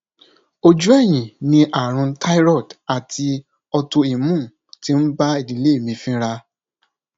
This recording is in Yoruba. ojú ẹyìn ni àrùn thyroid ati autoimmune ti ń bá ìdílé mi fínra